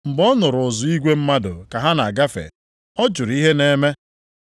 Mgbe ọ nụrụ uzu igwe mmadụ ka ha na-agafe, ọ jụrụ ihe na-eme.